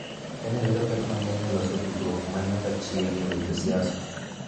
Kenya yudo pek mang�eny e loso tudruok ma nyaka chieng� e weche siasa